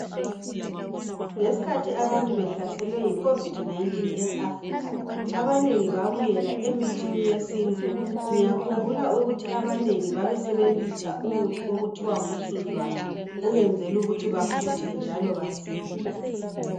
Ngesikhathi abantu behlaselwe yi COVID-19 eAfrica, abanengi babuyela emithini yesintu. Ngiyakhumbula ukuthi abanengi babesebenzisa umuthi okuthiwa ngumsuzwane ukwenzela ukuthi bafuthe njalo basile.